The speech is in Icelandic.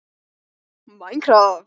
Berfættur í gallabuxum og bláum bol.